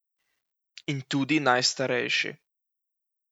In tudi najstarejši.